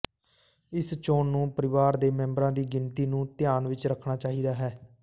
ਇਸ ਚੋਣ ਨੂੰ ਪਰਿਵਾਰ ਦੇ ਮੈਂਬਰਾਂ ਦੀ ਗਿਣਤੀ ਨੂੰ ਧਿਆਨ ਵਿਚ ਰੱਖਣਾ ਚਾਹੀਦਾ ਹੈ